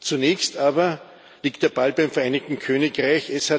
Zunächst aber liegt der Ball beim Vereinigten Königreich.